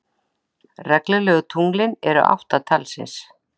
Reglulegu tunglin eru átta talsins.